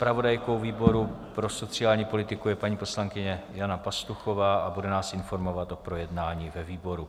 Zpravodajkou výboru pro sociální politiku je paní poslankyně Jana Pastuchová a bude nás informovat o projednání ve výboru.